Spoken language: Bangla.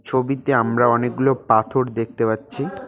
ছবিতে আমরা অনেকগুলো পাথর দেখতে পাচ্ছি।